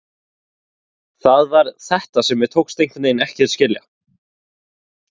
Það var þetta sem mér tókst einhvernveginn ekki að heyra eða skilja.